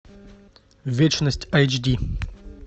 вечность айч ди